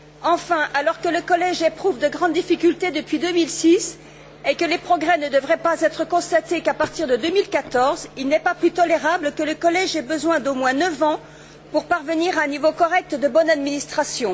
Enfin, alors que le collège éprouve de grandes difficultés depuis 2006 et que les progrès ne devraient être constatés qu'à partir de 2014, il n'est pas plus tolérable que le collège ait besoin d'au moins neuf ans pour parvenir à un niveau correct de bonne administration.